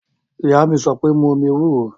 Ìyá mi sọ pé, mu omi ewúro!